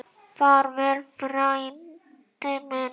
Far vel, frændi minn.